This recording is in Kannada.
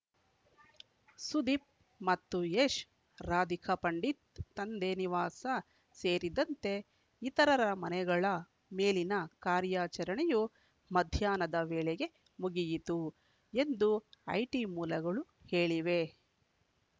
ಸುದೀಪ್‌ ಮತ್ತು ಯಶ್‌ ರಾಧಿಕಾ ಪಂಡಿತ್‌ ತಂದೆ ನಿವಾಸ ಸೇರಿದಂತೆ ಇತರರ ಮನೆಗಳ ಮೇಲಿನ ಕಾರ್ಯಾಚರಣೆಯು ಮಧ್ಯಾಹ್ನದ ವೇಳೆಗೆ ಮುಗಿಯಿತು ಎಂದು ಐಟಿ ಮೂಲಗಳು ಹೇಳಿವೆ